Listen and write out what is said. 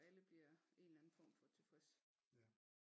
Så alle bliver en eller anden form for tilfreds